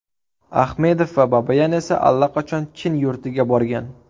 Ahmedov va Babayan esa allaqachon Chin yurtiga borgan.